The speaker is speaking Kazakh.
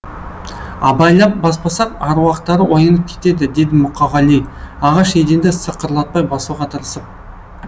абайлап баспасақ аруақтары оянып кетеді деді мұқағали ағаш еденді сықырлатпай басуға тырысып